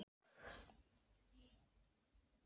Það rýkur úr strompum húsanna sem standa við fiskreit